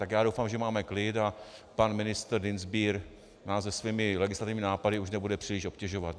Tak já doufám, že máme klid a pan ministr Dienstbier nás se svými legislativními nápady už nebude příliš obtěžovat.